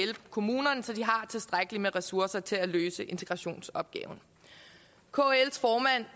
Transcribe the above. kommunerne så de har tilstrækkelig med ressourcer til at løse integrationsopgaven kls formand